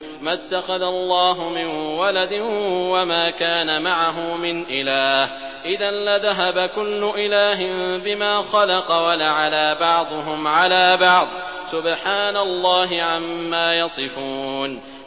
مَا اتَّخَذَ اللَّهُ مِن وَلَدٍ وَمَا كَانَ مَعَهُ مِنْ إِلَٰهٍ ۚ إِذًا لَّذَهَبَ كُلُّ إِلَٰهٍ بِمَا خَلَقَ وَلَعَلَا بَعْضُهُمْ عَلَىٰ بَعْضٍ ۚ سُبْحَانَ اللَّهِ عَمَّا يَصِفُونَ